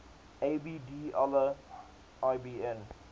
abd allah ibn